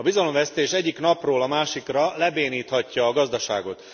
A bizalomvesztés egyik napról a másikra lebéníthatja a gazdaságot.